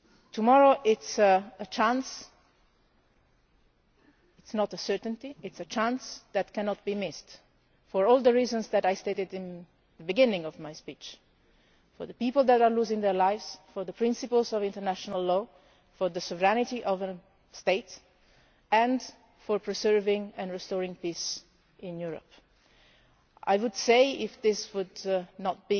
Tomorrow is a chance not a certainty, but a chance that cannot be missed for all the reasons that I stated at the beginning of my speech, for the people who are losing their lives, for the principles of international law, for the sovereignty of the state and for preserving and restoring peace in Europe. A chance I would say, if this would not